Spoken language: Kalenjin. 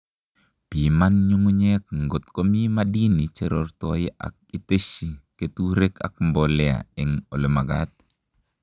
Piman nyung'unyek ngot komi madini cherortoi ak iteshi keturek ak mbolea eng olemakat